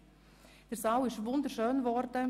Der Saal ist wunderschön geworden.